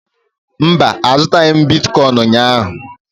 Mba, azụghị m bitkọịn ụnyaahụ.